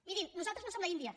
mirin nosaltres no som l’índia